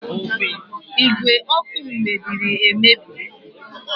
Ígwè ọkụ m mebiri emebi